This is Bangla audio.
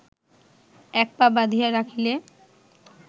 এক পা বাঁধিয়া রাখিলে